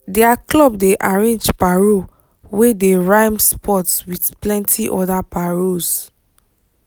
their club dey arrange paro wey dey rhyme sports with plenti other paros